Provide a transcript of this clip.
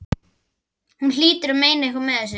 Hún hlýtur að meina eitthvað með þessu!